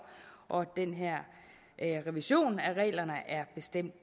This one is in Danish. og den her revision af reglerne er bestemt